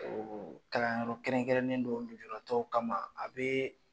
Kalanyɔrɔ kɛrɛnkɛrɛnnen dɔ bɛ yen lujuratɔw kama a bɛ